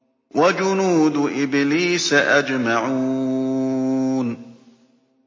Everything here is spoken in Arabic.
وَجُنُودُ إِبْلِيسَ أَجْمَعُونَ